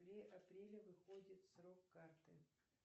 в апреле выходит срок карты